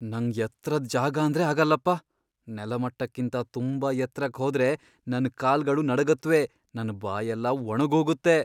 ನಂಗ್ ಎತ್ರದ್ ಜಾಗಾಂದ್ರೆ ಆಗಲ್ಲಪ್ಪ. ನೆಲಮಟ್ಟಕ್ಕಿಂತ ತುಂಬಾ ಎತ್ರಕ್ ಹೋದ್ರೆ ನನ್ ಕಾಲ್ಗಳು ನಡುಗತ್ವೆ, ನನ್ ಬಾಯೆಲ್ಲ ಒಣಗೋಗತ್ತೆ.